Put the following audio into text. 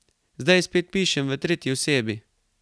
Zdaj spet pišem v tretji osebi.